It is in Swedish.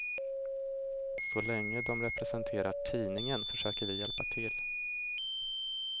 Så länge de representerar tidningen försöker vi hjälpa till.